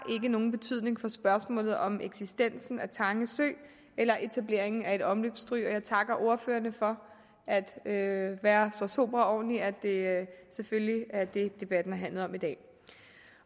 nogen betydning for spørgsmålet om eksistensen af tange sø eller etableringen af et omløbsstryg og jeg takker ordførerne for at være så sobre og ordentlige at det selvfølgelig ikke er det debatten har handlet om i dag